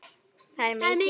Það er mikið.